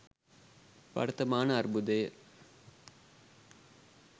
වර්තමාන අර්බුදය